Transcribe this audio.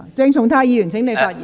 鄭松泰議員，請發言。